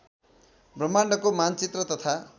ब्रह्माण्डको मानचित्र तथा